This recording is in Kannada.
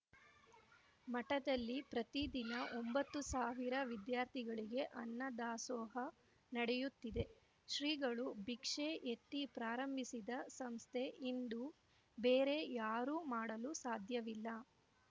ಮಠದಲ್ಲಿ ಪ್ರತಿದಿನ ಒಂಬತ್ತು ಸಾವಿರ ವಿದ್ಯಾರ್ಥಿಗಳಿಗೆ ಅನ್ನದಾಸೋಹ ನಡೆಯುತ್ತಿದೆ ಶ್ರೀಗಳು ಭಿಕ್ಷೆ ಎತ್ತಿ ಪ್ರಾರಂಭಿಸಿದ ಸಂಸ್ಥೆ ಇಂದು ಬೇರೆ ಯಾರೂ ಮಾಡಲು ಸಾಧ್ಯವಿಲ್ಲ